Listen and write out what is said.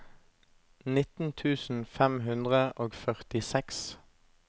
nitten tusen fem hundre og førtiseks